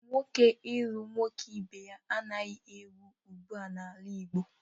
Nwoke ilu nwoke ibe ya anaghị ewu ụgbụa n'ala Igbo.